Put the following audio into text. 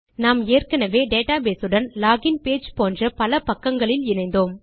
நாம் ஏற்கெனெவே டேட்டாபேஸ் உடன் லோகின் பேஜ் போன்ற பல பக்கங்களில் இணைந்தோம்